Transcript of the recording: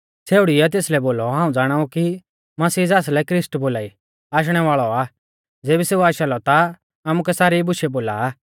छ़ेउड़ीऐ तेसलै बोलौ हाऊं ज़ाणाऊ कि मसीह ज़ासलै ख्रिस्ट बोलाई आशणै वाल़ौ आ ज़ेबी सेऊ आशा लौ ता आमुकै सारी बुशै बोल़ा आ